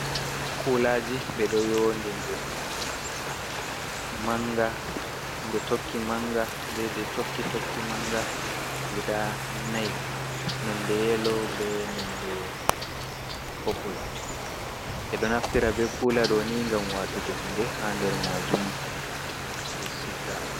Kulaaji ɓe ɗo yoodindiri. Manga, jei tokki manga, jei tokki jei tokki manga guda nai. Nonde yelo, be nonde popul, ɓe ɗo naftira be kula doni gam watugo hunde haa nder majum ɓe siga.